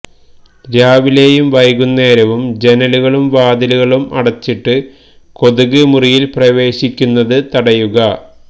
രാവിലെയും വൈകുന്നേരവും ജനലുകളും വാതിലുകളും അടച്ചിട്ട് കൊതുക് മുറിയില് പ്രവേശിക്കുന്നത് തടയുക